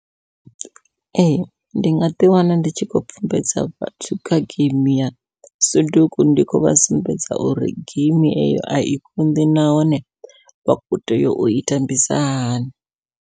Ee ndi nga ḓi wana ndi tshi khou pfhumbedza vhathu kha geimi ya suduku, ndi khou vha sumbedza uri geimi eyo ai konḓi nahone vha kho tea ui tambisa hani.